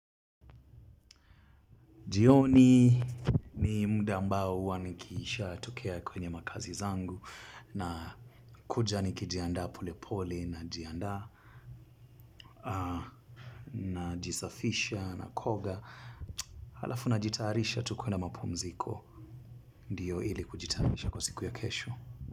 Jioni ni mda ambao wa nikiisha tokea kwenye makazi zangu na kuja niki jianda pole pole na jianda najisafisha nakoga halafu najitarisha tu kwenda mapumziko ndiyo ili kujitarisha kwa siku ya kesho.